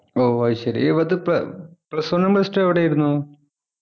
ഓ അത് ശരി ഇവ Plus one ഉം Plus two ഉം എവിടെയായിരുന്നു